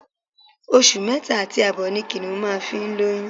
Oṣù mẹ́ta àti àbọ̀ ni Kìnìún máa ń fi lóyún